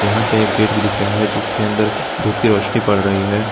यहां पे एक गेट भी दिख रहा है जिसके अंदर धूप की रोशनी पड़ रही है।